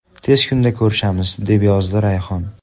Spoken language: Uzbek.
Tez kunda ko‘rishamiz”, deb yozdi Rayhon.